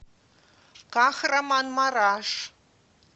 кахраманмараш